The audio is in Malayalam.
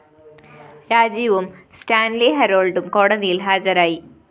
രാജീവും സ്റ്റാന്‍ലി ഹരോള്‍ഡും കോടതിയില്‍ ഹാജരായി